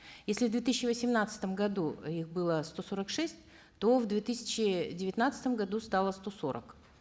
если в две тысячи восемнадцатом году их было сто сорок шесть то в две тысячи девятнадцатом году стало сто сорок